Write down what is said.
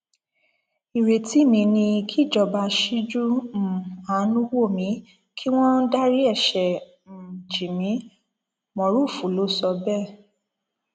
ìrètí mi ni kíjọba ṣíjú um àánú wò mí kí wọn dárí ẹṣẹ um jì mí mórufù ló sọ bẹẹ